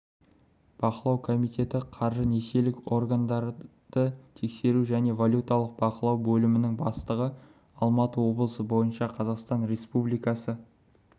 бақылау комитеті қаржы-несиелік органдарды тексеру және валюталық бақылау бөлімінің бастығы алматы облысы бойынша қазақстан республикасы